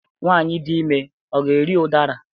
Nwanyị dị ime ga-eri udara?